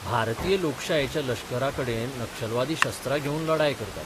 भारतीय लोकशायेच्या लश्कराकडेन नक्षलवादी शस्त्रां घेवन लढाय करतात.